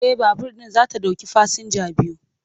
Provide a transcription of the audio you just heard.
E, babur ɗin za ta ɗauki fasinja biyu.